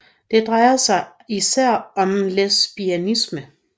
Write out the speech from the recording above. Det drejer sig især om lesbianisme